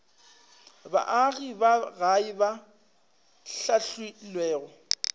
baagi ba gae ba hlahlilwego